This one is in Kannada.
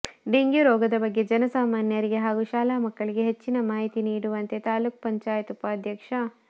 ಡೆಂಗ್ಯೂ ರೋಗದ ಬಗ್ಗೆ ಜನ ಸಾಮಾನ್ಯರಿಗೆ ಹಾಗೂ ಶಾಲಾ ಮಕ್ಕಳಿಗೆ ಹೆಚ್ಚಿನ ಮಾಹಿತಿ ನೀಡುವಂತೆ ತಾಲೂಕು ಪಂಚಾಯತ್ ಉಪಾಧ್ಯಕ್ಷ